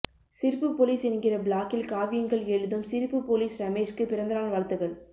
சிரிப்பு போலீஸ் என்கிற பிளாக்கில் காவியங்கள் எழுதும் சிரிப்பு போலீஸ் ரமேஷ்க்கு பிறந்தநாள் வாழ்த்துக்கள்